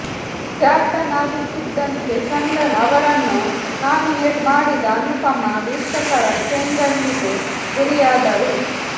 captain ಆಗುತ್ತಿದ್ದಂತೆ ಚಂದನ್ ಅವರನ್ನು nominate ಮಾಡಿದ ಅನುಪಮ ವೀಕ್ಷಕರ ಕೆಂಗಣ್ಣಿಗೆ ಗುರಿಯಾದರು